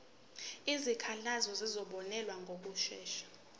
izikhalazo zizobonelelwa ngokushesha